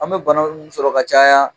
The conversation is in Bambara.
An bɛ bana minnu sɔrɔ ka caya